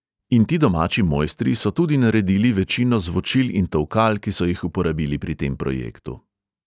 In ti domači mojstri so tudi naredili večino zvočil in tolkal, ki so jih uporabili pri tem projektu.